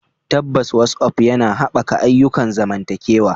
Tabbas, WhatsApp yana haɓaka ayyukan zamantakewa.